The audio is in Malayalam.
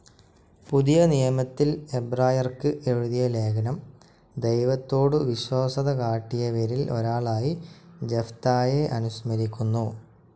പുതിയ നിയമത്തിൽ എബ്രായർക്ക് എഴുതിയ ലേഖനം ദൈവത്തോടു വിശ്വസ്തതകാട്ടിയവരിൽ ഒരാളായി ജഫ്‌തായെ അനുസ്മരിക്കുന്നു.